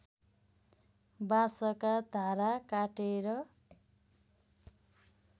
बाँसका धारा काटेर